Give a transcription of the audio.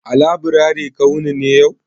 A laburare ka wuni ne yau?